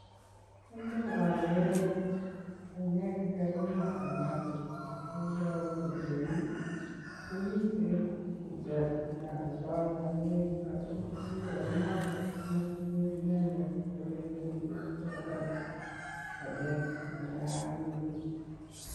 En yu ogeere banyek che kakimaa en asista. Iboru kole yu komiten tuget ne oldo banyek, ago butchery inoton komotinye inendet ole imuche kogoneren banyek asi maagitun.